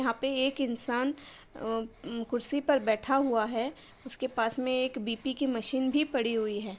यहाँ पे एक इंसान अ-उम कुर्सी पर बैठा हुआ है उसके पास में एक बी.पी. की मशीन भी पड़ी हुई है।